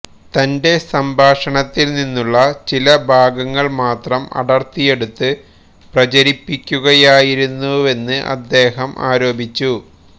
തന്റെ സംഭാഷണത്തില് നിന്നുള്ള ചില ഭാഗങ്ങള് മാത്രം അടര്ത്തിയെടുത്ത് പ്രചരിപ്പിക്കുകയായിരുന്നുവെന്ന് അദ്ദേഹം ആരോപിച്ചു